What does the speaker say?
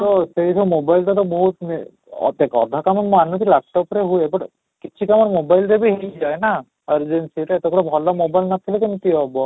ତ ସେଇଟା mobile ଟା ତ mostly ଏବେ ଦେଖ ଅଧା କାମ ମାନୁଛି laptop ରେ ହୁଏ, but କିଛିଟା mobile ରେ ବି ହେଇ ଯାଏ ନା ଆଉ ଯଦି ସେଇଟା କେବଳ ଭଲ mobile ନ ଥିଲେ କେମିତି ହେବ